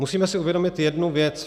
Musíme si uvědomit jednu věc.